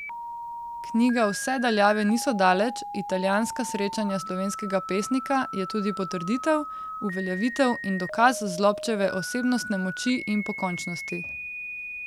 Knjiga Vse daljave niso daleč, Italijanska srečanja slovenskega pesnika je tudi potrditev, uveljavitev in dokaz Zlobčeve osebnostne moči in pokončnosti.